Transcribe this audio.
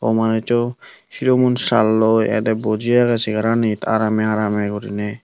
ow manuj so silum un salloi ede boji age chair anit arame arame guriney.